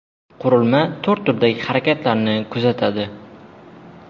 Qurilma to‘rt turdagi harakatlarni kuzatadi.